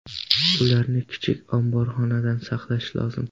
Ularni kichik omborxonada saqlash lozim.